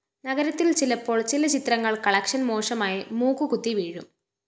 നഗരത്തില്‍ ചിലപ്പോള്‍ ചില ചിത്രങ്ങള്‍ കളക്ഷൻ മോശമായി മൂക്കുകുത്തി വീഴും